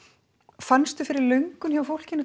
fannstu fyrir löngun hjá fólkinu